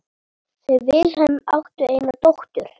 Þau Vilhelm áttu eina dóttur.